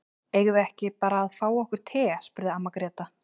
Eigum við ekki bara að fá okkur te, spurði amma Gréta.